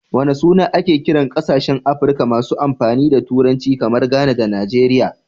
Wana suna ake kiran kasashen Afrika masu amfani da Turanci, kamar Ghana da Nigeria?